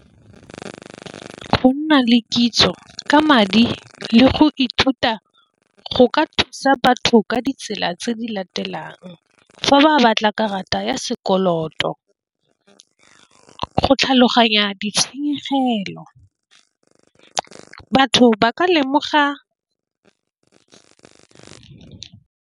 Go nna le kitso ka madi le go ithuta go ka thusa batho ka ditsela tse di latelang fa ba batla karata ya sekoloto, go tlhaloganya ditshenyegelo batho ba ka lemoga.